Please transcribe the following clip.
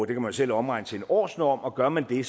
kan man selv omregne til en årsnorm og gør man det